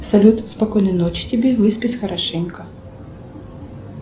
салют спокойной ночи тебе выспись хорошенько